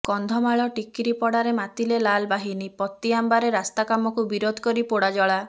କନ୍ଧମାଳ ଟିକିରିପଡ଼ାରେ ମାତିଲେ ଲାଲ୍ବାହିନୀ ପାତିଆମ୍ବାରେ ରାସ୍ତାକାମକୁ ବିରୋଧ କରି ପୋଡ଼ାଜଳା